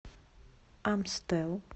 амстел